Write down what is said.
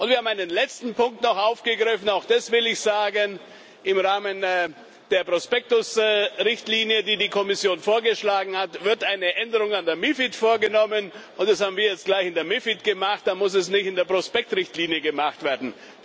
Und wir haben einen letzten Punkt noch aufgegriffen auch das will ich sagen Im Rahmen der Prospektrichtlinie, die die Kommission vorgeschlagen hat, wird eine Änderung an der MiFID vorgenommen, und das haben wir jetzt gleich in der MiFID gemacht, dann muss es nicht in der Prospektrichtlinie gemacht werden.